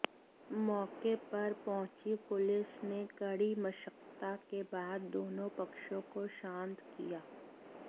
मौके पर पहंुची पुलिस ने कड़ी मशक्कत के बाद दोनों पक्षों को शांत किया